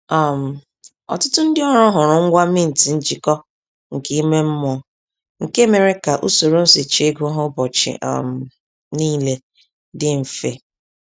um Ọtụtụ ndị ọrụ hụrụ ngwa mint njikọ nke ime mmụọ nke mere ka usoro nsochị ego ha ụbọchị um niile dị mfe.